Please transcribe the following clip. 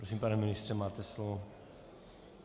Prosím, pane ministře, máte slovo.